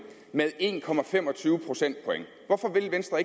med en procentpoint hvorfor vil venstre